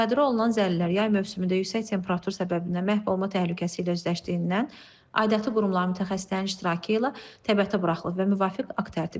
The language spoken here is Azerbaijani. Müsadirə olunan zəlilər yay mövsümündə yüksək temperatur səbəbindən məhv olma təhlükəsi ilə üzləşdiyindən aidiyyatı qurumların mütəxəssislərinin iştirakı ilə təbiyətə buraxılıb və müvafiq akt tərtib edilib.